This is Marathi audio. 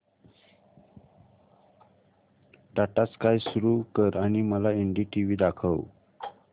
टाटा स्काय सुरू कर आणि मला एनडीटीव्ही दाखव